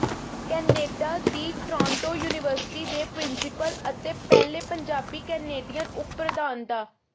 Canada ਦੀ Toronto university ਦੇ principal ਅਤੇ ਪਹਿਲੇ ਪੰਜਾਬੀ ਕੈਨੇਡੀਅਨ ਉਪ ਪ੍ਰਧਾਨ ਡਾ